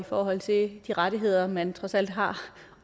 forhold til de rettigheder man trods alt har